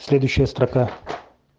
следующая строка